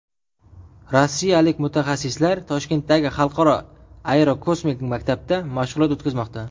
Rossiyalik mutaxassislar Toshkentdagi Xalqaro aerokosmik maktabda mashg‘ulot o‘tkazmoqda.